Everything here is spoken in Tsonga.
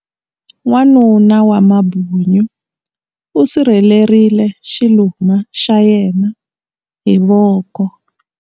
Wanuna wa mambunyu u sirhelerile xiluma xa yena hi voko.